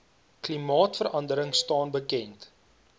klimaatverandering staan bekend